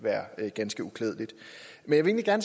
ned men jeg